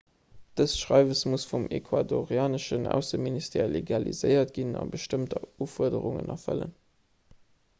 dëst schreiwes muss vum ecuadorianeschen ausseministère legaliséiert ginn a bestëmmt ufuerderungen erfëllen